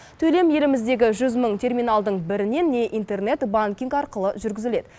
төлем еліміздегі жүз мың терминалдың бірінен не интернет банкинг арқылы жүргізіледі